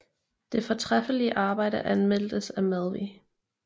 Det fortræffelige arbejde anmeldtes af Madvig